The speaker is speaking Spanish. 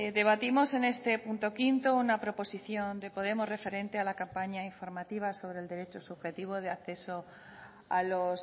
debatimos en este punto quinto una proposición de podemos referente a la campaña informativa sobre el derecho subjetivo de acceso a los